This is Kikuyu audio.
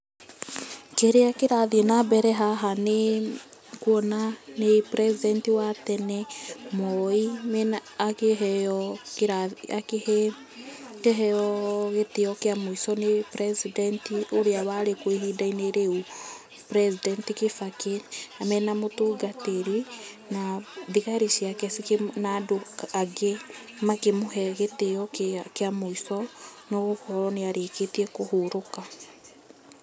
Kĩrĩa kĩrathiĩ na mbere haha nĩ nguona nĩ President wa tene Moi, akĩheo gitio kĩa mũico nĩ president ũrĩa wari kuo ihinda-inĩ rĩu, president Gĩbakĩ mena mũtungatĩri. Na thigari ciake cikĩ, na andũ angĩ makĩmũhe gitĩo kĩa mũico, nĩ gũkorwo nĩ arĩkitie kũhurũka.